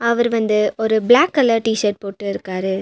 அவர் வந்து ஒரு black colour T shirt போட்டு இருக்காரு.